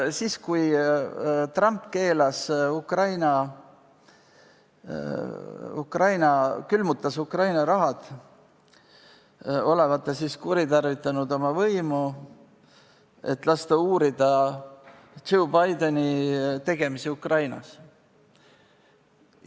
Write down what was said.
Siis, kui Trump külmutas Ukraina raha, olevat ta kuritarvitanud oma võimu, et lasta uurida Joe Bideni tegemisi Ukrainas.